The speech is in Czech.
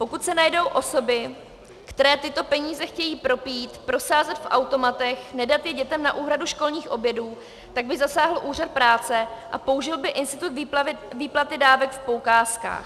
Pokud se najdou osoby, které tyto peníze chtějí propít, prosázet v automatech, nedat je dětem na úhradu školních obědů, tak by zasáhl úřad práce a použil by institut výplaty dávek v poukázkách.